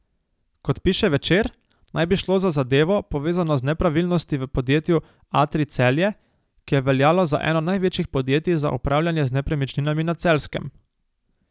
Kot piše Večer, naj bi šlo za zadevo, povezano z nepravilnosti v podjetju Atrij Celje, ki je veljalo za eno največjih podjetij za upravljanje z nepremičninami na Celjskem.